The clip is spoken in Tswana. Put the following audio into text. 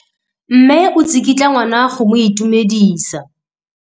Mme o tsikitla ngwana go mo itumedisa.